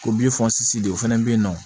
O de o fɛnɛ be yen nɔ